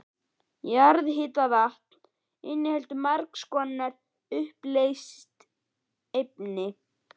Jarðhitavatn inniheldur margs konar uppleyst efni.